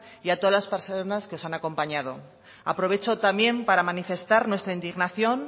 y a todas las personas que os han acompañado aprovecho también para manifestar nuestra indignación